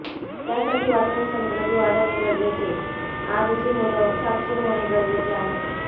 त्यासाठी वाचनसंक्रती वाढवणे गरजेचे आजची मुल साक्षर होणे गरजेचे आहे